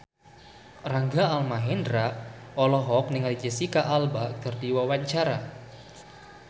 Rangga Almahendra olohok ningali Jesicca Alba keur diwawancara